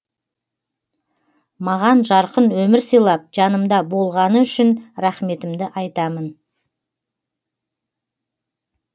маған жарқын өмір сыйлап жанымда болғаны үшін рахметімді айтамын